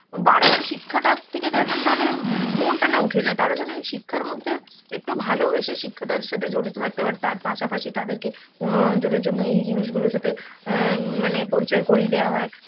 বারে বারে শিক্ষাটা থেকে তা~ তাদের মনটা না উঠে যায়, তার জন্য এই শিক্ষার মধ্যে একটু ভালোবেসে শিক্ষা টার সাথে জড়িত থাকতে পারে, তার পাশাপাশি তাদেরকে মনোরঞ্জনের জন্য এই জিনিসগুলোর সাথে আ ম~ মানে পরিচয় করিয়ে দেওয়া হয়.